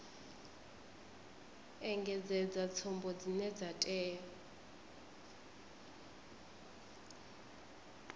engedzedza tsumbo dzine dza tea